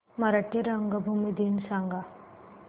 मराठी रंगभूमी दिन सांगा